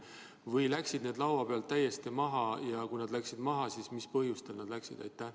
Või läksid need võimalused laua pealt täiesti maha ja kui need läksid maha, siis mis põhjustel läksid?